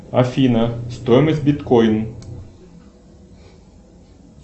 афина стоимость биткойн